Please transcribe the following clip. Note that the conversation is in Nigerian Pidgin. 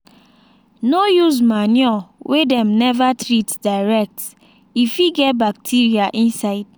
no use manure wey dem never treat direct e fit get bacteria inside.